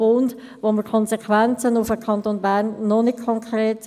– Die Konsequenzen für den Kanton Bern kennen wir noch nicht konkret;